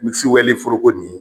Misi walen foroko nin ye